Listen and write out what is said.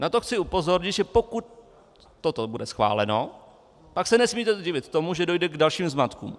Na to chci upozornit, že pokud toto bude schváleno, pak se nesmíte divit tomu, že dojde k dalším zmatkům.